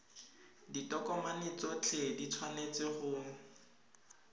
ditokomane tsotlhe di tshwanetse go